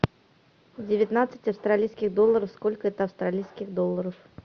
девятнадцать австралийских долларов сколько это австралийских долларов